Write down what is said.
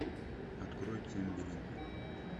открой цимбелин